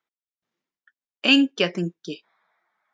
Engjaþingi